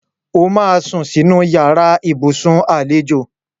O máa sún sínú yàrá ibùsùn àlejò